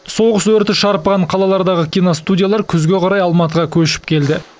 соғыс өрті шарпыған қалалардағы киностудиялар күзге қарай алматыға көшіп келді